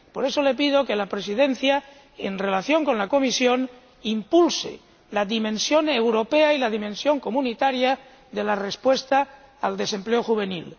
Por eso, le pido que la Presidencia, en colaboración con la Comisión, impulse la dimensión europea y la dimensión comunitaria de la respuesta al desempleo juvenil.